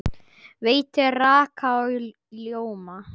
Veitir raka og ljóma.